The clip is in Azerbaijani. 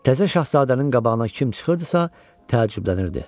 Təzə şahzadənin qabağına kim çıxırdısa təəccüblənirdi.